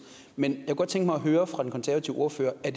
men jeg kunne godt tænke mig at høre fra den konservative ordfører er